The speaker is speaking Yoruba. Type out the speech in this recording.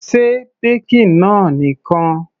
Se baking náà nìkan.